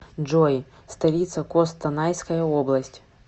джой столица костанайская область